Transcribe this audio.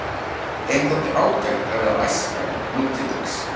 Þeim þótti ágætt að vera æskan nútildags.